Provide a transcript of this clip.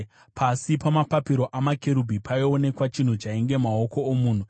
(Pasi pamapapiro amakerubhi paionekwa chinhu chainge maoko omunhu.)